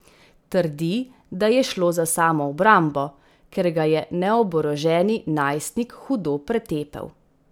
Trdi, da je šlo za samoobrambo, ker ga je neoboroženi najstnik hudo pretepel.